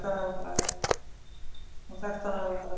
Hún þekkti hann á augabragði.